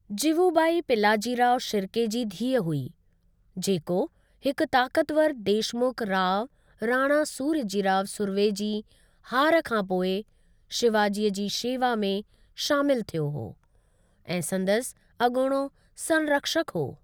जिवुबाई पिलाजीराव शिर्के जी धीअ हुई, जेको हिक ताकतवार देशमुख राव राणा सूर्यजीराव सुर्वे जी हार खां पोइ शिवाजीअ जी शेवा में शामिल थियो हो ऐं संदसि अॻोणो संरक्षक हो।